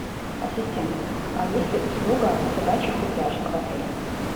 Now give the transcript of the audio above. ассистент а есть ли услуга собачьих упряжек в отеле